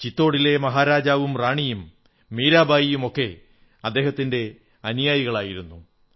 ചിത്തോഢിലെ മഹാരാജാവും റാണിയും മീരാബായിയും ഒക്കെ അദ്ദേഹത്തിന്റെ അനുയായികളായിരുന്നു